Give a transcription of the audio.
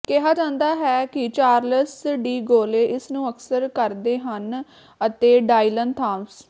ਕਿਹਾ ਜਾਂਦਾ ਹੈ ਕਿ ਚਾਰਲਸ ਡੀ ਗੌਲੇ ਇਸ ਨੂੰ ਅਕਸਰ ਕਰਦੇ ਹਨ ਅਤੇ ਡਾਈਲਨ ਥਾਮਸ